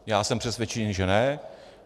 Já jsem přesvědčený, že ne.